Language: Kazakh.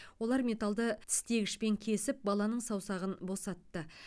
олар металды тістегішпен кесіп баланың саусағын босатты